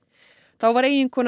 þá var eiginkona